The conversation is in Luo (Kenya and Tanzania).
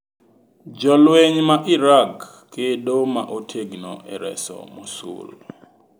Jolweny ma Irag kedo ma otegno e reso Mosul